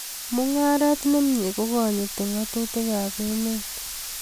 Mungaret ne mie kokonyiti ngatutikab emet